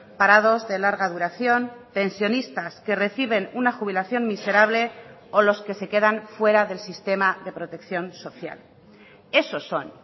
parados de larga duración pensionistas que reciben una jubilación miserable o los que se quedan fuera del sistema de protección social esos son